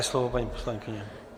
Máte slovo, paní poslankyně.